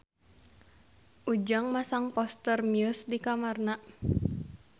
Ujang masang poster Muse di kamarna